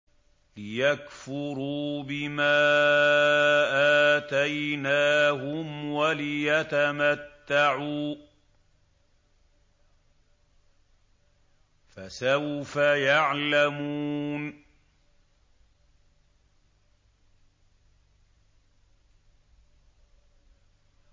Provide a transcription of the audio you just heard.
لِيَكْفُرُوا بِمَا آتَيْنَاهُمْ وَلِيَتَمَتَّعُوا ۖ فَسَوْفَ يَعْلَمُونَ